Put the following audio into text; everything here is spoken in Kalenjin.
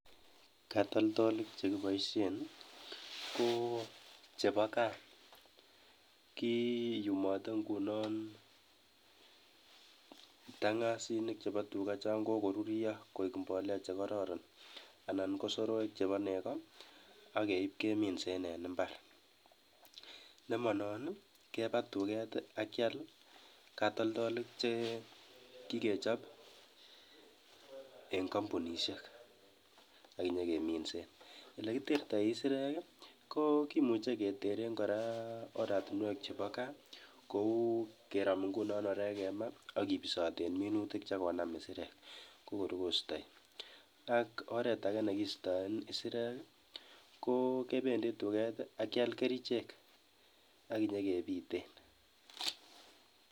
Katoltolik chekibaisien ko chebo kaa kiyumoten ngunon tang'asinik chebo tuga chokoko ruryo koek mbolea chekororon, anan ko soroek chebo nego akeip keminsen en imbarnemanon keba tuket keal katoltolik che kikechopeng kampunishek akenyekeminsen. Olekitektoi kisirek ko kimuchei keteren kora oratunwek chebo gaa kou kerom nguno orek kemaa akepisoten minutik chekonam kisirek sokorkosto. Ko akotoretage negiistaen kisirek ko kibendi tuket akeal kerichek akinyekebiten.